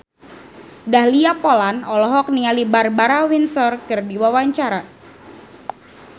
Dahlia Poland olohok ningali Barbara Windsor keur diwawancara